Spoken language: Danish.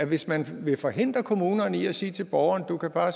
hvis man vil forhindre kommunerne i at sige til borgeren at du bare